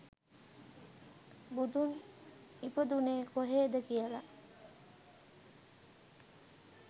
බුදුන් ඉපදුනේ කොහෙද කියල